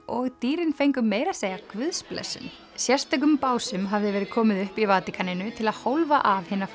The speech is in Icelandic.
og dýrin fengu meira að segja guðsblessun sérstökum básum hafði verið komið upp í Vatíkaninu til að hólfa af hina